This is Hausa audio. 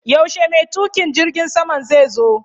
Yaushe mai tuƙin jirgin saman zai zo?